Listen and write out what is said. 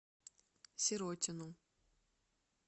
сиротину